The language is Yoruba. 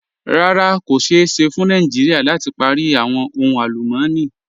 Rárá, kò ṣéè ṣẹ́ fún Nàìjíríà láti pári awọn ohun alùmọ̀ní.